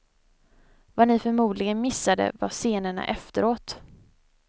Vad ni förmodligen missade var scenerna efteråt.